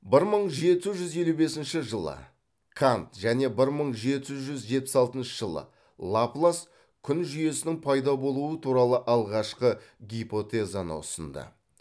бір мың жеті жүз елу бесінші жылы кант және бір мың жеті жүз жетпіс алтыншы жылы лаплас күн жүйесінің пайда болуы туралы алғашқы гипотезаны ұсынды